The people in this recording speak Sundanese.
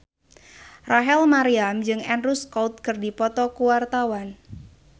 Rachel Maryam jeung Andrew Scott keur dipoto ku wartawan